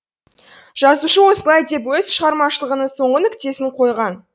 жазушы осылай деп өз шығармашылығының соңғы нүктесін қойған